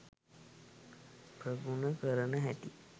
ප්‍රගුණ කරන හැටි